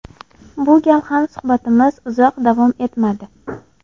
Bu gal ham suhbatimiz uzoq davom etmadi.